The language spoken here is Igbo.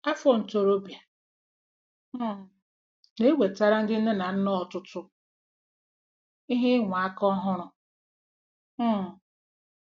Afọ ntorobịa um na-ewetara ndị nne na nna ọtụtụ ihe ịnwa aka ọhụrụ um.